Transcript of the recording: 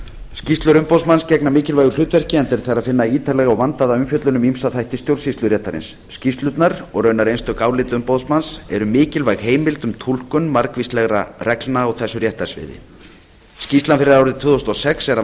skýrslur umboðsmanns gegna mikilvægu hlutverki enda er þar að finna ítarlega og vandaða umfjöllun um ýmsa þætti stjórnsýsluréttarins skýrslurnar og raunar einstök álit umboðsmanns eru mikilvæg heimild um túlkun margvíslegra reglna á þessu réttarsviði skýrslan fyrir árið tvö þúsund og sex er að